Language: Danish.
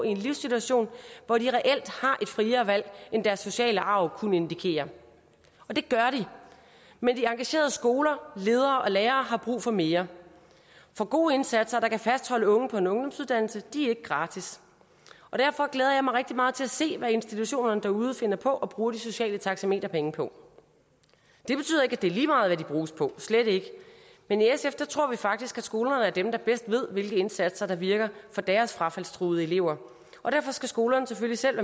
i en livssituation hvor de reelt har et friere valg end deres sociale arv kunne indikere og det gør de men de engagerede skoler ledere og lærere har brug for mere for gode indsatser der kan fastholde unge på en ungdomsuddannelse er ikke gratis og derfor glæder jeg mig rigtig meget til at se hvad institutionerne derude finder på at bruge de sociale taxameterpenge på det betyder ikke at det er lige meget hvad de bruges på slet ikke men i sf tror vi faktisk at skolerne er dem der bedst ved hvilke indsatser der virker for deres frafaldstruede elever og derfor skal skolerne selvfølgelig selv